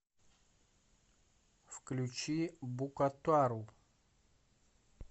включи букатару